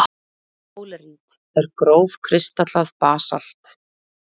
Dólerít er grófkristallað basalt.